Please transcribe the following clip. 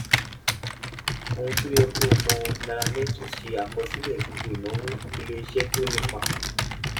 ohun tó yẹ kó o mọ nairametrics ṣe àkọsílẹ gbogbo ìnáwó ilé iṣẹ tó ní ipa